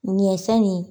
Ɲɛsɛnni